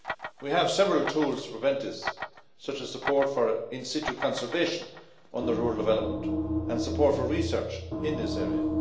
We have several tools to prevent this, such as support for in situ conservation under rural development and support for research in this area.